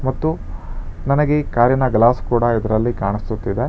ಮತ್ತು ನನಗೆ ಕಾರಿನ ಗ್ಲಾಸ್ ಕೂಡ ಇದರಲ್ಲಿ ಕಾಣಿಸುತ್ತಿದೆ.